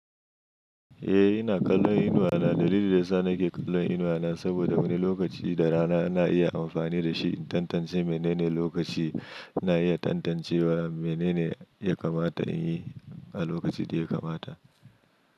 Eh, ina kallon inuwa na. Dalilin da sa nake kallon inuwa na saboda wani lokaci da rana na iya amfani da shi in tantance menene lokaci ina iya tantancewa menene ya kamata in yi a lokacin da ya kamata.